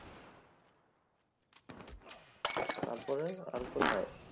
তারপরে আর কোথায়?